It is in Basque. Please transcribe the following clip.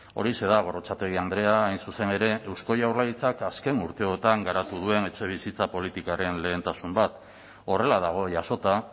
horixe da gorrotxategi andrea hain zuzen ere eusko jaurlaritzak azken urteotan garatu duen etxebizitza politikaren lehentasun bat horrela dago jasota